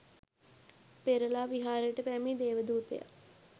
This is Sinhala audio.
පෙරළා විහාරයට පැමිණි දේවදූතයා